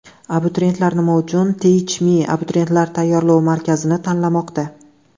Abituriyentlar nima uchun Teach Me Abituriyentlar tayyorlov markazini tanlamoqda?